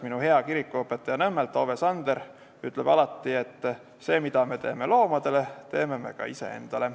Minu hea kirikuõpetaja Nõmmelt Ove Sander ütleb alati, et seda, mida me teeme loomadele, teeme ka iseendale.